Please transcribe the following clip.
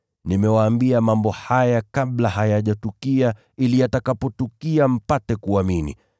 Nimewaambia mambo haya kabla hayajatukia, ili yatakapotukia mpate kuamini.